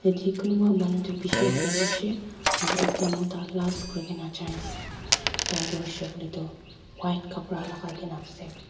yate kunpa manu toh bishi girishey aro ekta mota last kurina jai ase tai tu hoishey Koi lae tu white kapra lakai kae n ase.